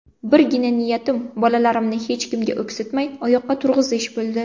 Birgina niyatim bolalarimni hech kimga o‘ksitmay, oyoqqa turg‘izish bo‘ldi.